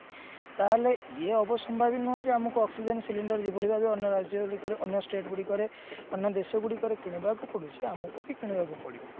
ତାହେଲେ ଇଏ ଯେ ଆମକୁ oxygen cylinder ଯେଭଳି ଭାବେ ଅନ୍ୟ ରାଜ୍ୟରୁ ନେଇ ଅନ୍ୟ state ଗୁଡିକରେ ଅନ୍ୟ ଦେଶ ଗୁଡିକରେ କିଣିବାକୁ ପଡୁଛି ଆମକୁ ବି କିଣିବାକୁ ପଡିବ